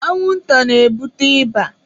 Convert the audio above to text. Anwụ nta na-ebute ịba.